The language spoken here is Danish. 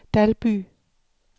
Dalby